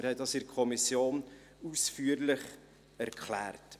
Wir haben dies in der Kommission ausführlich erklärt.